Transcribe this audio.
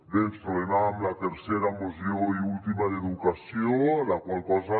bé ens trobem amb la tercera moció i última d’educació la qual cosa